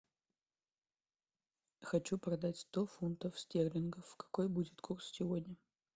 хочу продать сто фунтов стерлингов какой будет курс сегодня